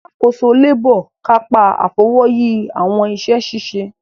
Alàkóso labour kapa Afọwọyi awọn iṣẹ-ṣiṣe.